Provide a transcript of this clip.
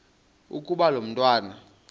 ukuba lo mntwana